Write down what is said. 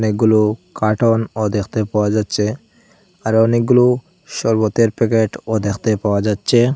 এগুলো কার্টুন দেখতে পাওয়া যাচ্ছে আরও অনেকগুলো শরবতের প্যাকেট ও দেখতে পাওয়া যাচ্ছে।